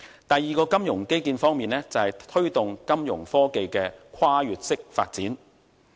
第二個金融基建方面，就是推動金融科技的跨越式發展。